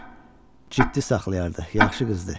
o həmişə özünü ciddi saxlayardı, yaxşı qızdır.